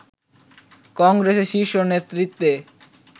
কংগ্রেসের শীর্ষ নেতৃত্বে